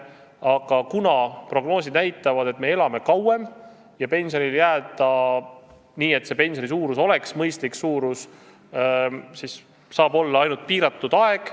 Aga prognoosid näitavad, et me elame kauem, ja pensionile jääda nii, et pensioni suurus oleks mõistlik, saab olla võimalik ainult pensioniea tõstmise korral.